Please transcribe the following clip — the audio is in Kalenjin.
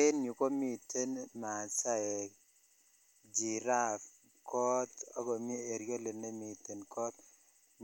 En yuu komiten masaek, giraffe, koot ak komii eriolit nemiten koot